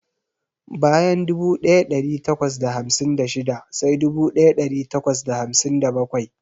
Bayan dubu daya dari takwas da hamsin da shida sai dubu daya dari takwas da hamsin da bakwai.